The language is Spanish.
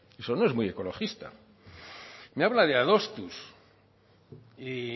eso no es muy ecologista me habla de adostuz y